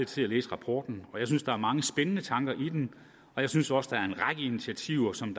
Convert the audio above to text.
til at læse rapporten og jeg synes der er mange spændende tanker i den og jeg synes også der er en række initiativer som